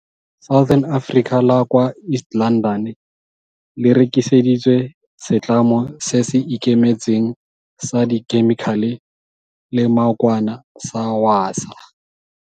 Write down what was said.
Southern Africa la kwa East London le rekiseditswe setlamo se se ikemetseng sa dikhemikhale le maokwane sa Wasaa.